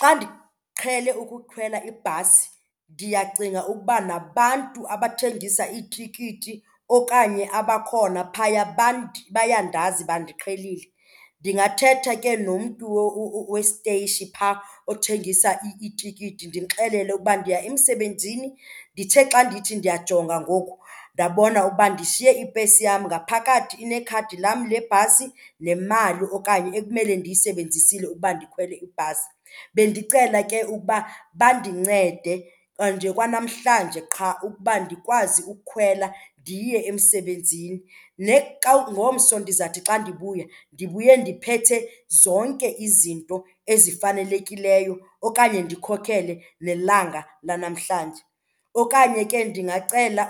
Xa ndiqhele ukukhwela ibhasi ndiyacinga ukuba nabantu abathengisa itikiti okanye abakhona phaya bayandazi, bandiqhelile. Ndingathetha ke nomntu westeyishi phaa othengisa itikiti ndimxelele uba ndiya emsebenzini, ndithe xa ndithi ndiyajonga ngoku ndabona ukuba ndishiye ipesi yam. Ngaphakathi inekhadi lam le bhasi nemali okanye ekumele ndiyisebenzisile ukuba ndikhwele ibhasi, bendicela ke ukuba bandincede nje kwa namhlanje qha ukuba ndikwazi ukhwela ndiye emsebenzini. Xa ngomso ndizawuthi xa ndibuya ndibuye ndiphethe zonke izinto ezifanelekileyo okanye ndikhokhele nelanga lanamhlanje. Okanye ke ndingacela